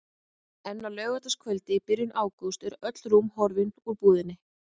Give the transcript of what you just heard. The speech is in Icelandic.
En á laugardagskvöldi í byrjun ágúst eru öll rúm horfin úr búðinni.